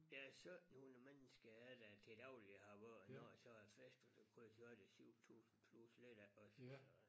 Ja 17 hundrede mennesker er der til daglig i Harboøre og når der så er festival så er det 7000 plus lidt af også så